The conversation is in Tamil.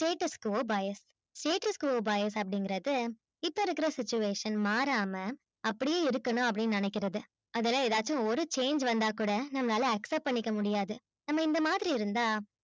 status co bias status co bias இங்கறது இப்ப இருக்குற situation மாறாம அப்பிடியே இருக்கணும் னு நெனைக்குறது அதுல்ல எதாச்சும் ஒரு change வந்தா கூட நம்மளால accept பண்ணிக்க முடியாது நம்ம இந்த மாதிரி இருந்த